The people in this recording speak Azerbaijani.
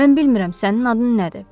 Mən bilmirəm sənin adın nədir.